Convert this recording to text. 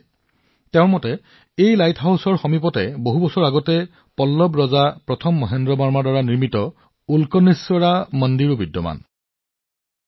তেওঁ কৈছে যে শ শ বছৰ আগতে এই লাইট হাউচৰ কাষত পল্লৱ ৰজা মহেন্দ্ৰ বৰ্মন প্ৰথমে উল্কানেশ্বৰ মন্দিৰ নিৰ্মাণ কৰিছিল